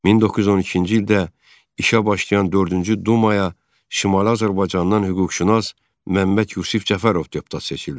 1912-ci ildə işə başlayan dördüncü dumaya Şimali Azərbaycandan hüquqşünas Məmməd Yusif Cəfərov deputat seçildi.